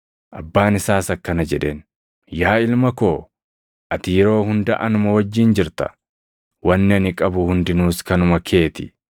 “Abbaan isaas akkana jedheen; ‘Yaa ilma koo ati yeroo hunda anuma wajjin jirta; wanni ani qabu hundinuus kanuma kee ti.